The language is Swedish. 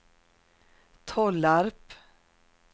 Tollarp